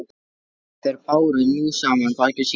Þeir báru nú saman bækur sínar.